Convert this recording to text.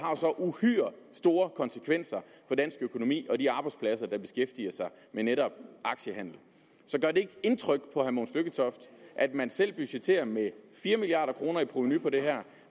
har så uhyre store konsekvenser for dansk økonomi og de arbejdspladser der beskæftiger sig med netop aktiehandel så gør det ikke indtryk på herre mogens lykketoft at man selv budgetterer med fire milliard kroner i provenu på det her